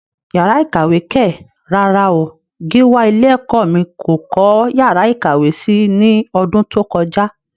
Yàrá ìkàwé kẹ̀! rárá o, Gíwá ilé ẹ̀kọ́ mí kò kọ́ yàrá ìkàwé si ní ọdún tó kọjá.